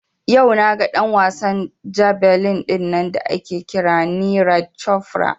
Yau naga ɗan wasan jabelin dinnan da ake kira Neeraj Cofra